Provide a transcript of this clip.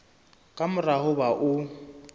ka mora ho ba o